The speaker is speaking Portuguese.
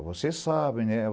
Ó, você sabe, né?